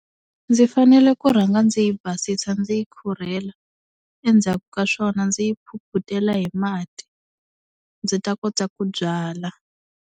Ndzi fanele ku rhanga ndzi yi basisa ndzi yi khurhela, endzhaku ka swona ndzi yi phuphutela hi mati ndzi ta kota ku byala.